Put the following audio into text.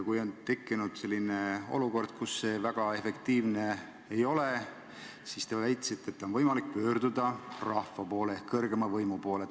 Kui on tekkinud selline olukord, kus see väga efektiivne ei ole, siis, te väitsite, on võimalik pöörduda rahva ehk kõrgeima võimu poole.